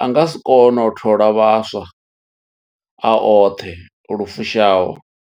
a nga si kone u thola vhaswa a oṱhe lu fushaho.